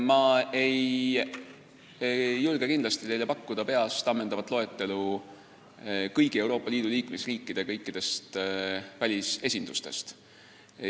Ma ei suuda kindlasti pakkuda teile peast ammendavat loetelu kõigi Euroopa Liidu liikmesriikide kõikidest välisesindustest.